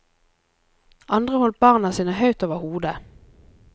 Andre holdt barna sine høyt over hodet.